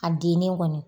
A dennen kɔni